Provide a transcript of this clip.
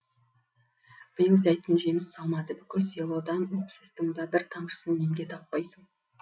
биыл зәйтүн жеміс салмады бүкіл селодан уксустың да бір тамшысын емге таппайсың